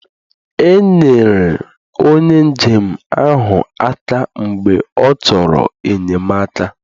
Enyere onye njem ahụ aka mgbe ọ chọrọ enyemaka